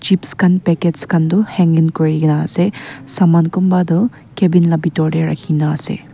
chips khan packets khan du hanging kuri na ase saman kumba du cabin la bitor de rakhi na ase.